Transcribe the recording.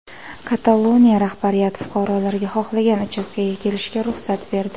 Kataloniya rahbariyati fuqarolarga xohlagan uchastkaga kelishga ruxsat berdi.